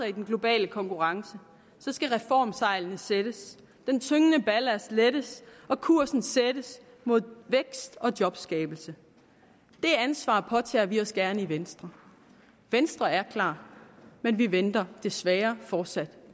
i den globale konkurrence skal reformsejlene sættes den tyngende ballast lettes og kursen sættes mod vækst og jobskabelse det ansvar påtager vi os gerne i venstre venstre er klar men vi venter desværre fortsat